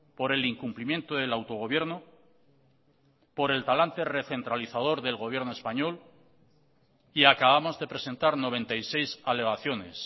por el incumplimiento del autogobierno por el talante recentralizador del gobierno español y acabamos de presentar noventa y seis alegaciones